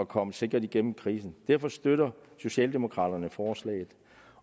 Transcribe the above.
kommer sikkert igennem krisen derfor støtter socialdemokraterne forslaget